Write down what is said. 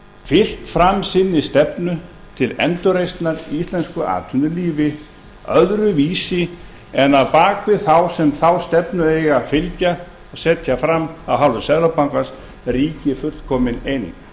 fylgt fram sinni stefnu til endurreisnar í íslensku atvinnulífi öðruvísi en að á bak við þá sem þeirri stefnu eiga að fylgja og setja fram af hálfu seðlabankans ríki fullkomin eining þannig